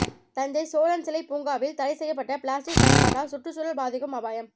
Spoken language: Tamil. தஞ்சை சோழன் சிலை பூங்காவில் தடை செய்யப்பட்ட பிளாஸ்டிக் பயன்பாட்டால் சுற்றுச்சூழல் பாதிக்கும் அபாயம்